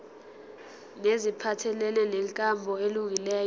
neziphathelene nenkambo elungileyo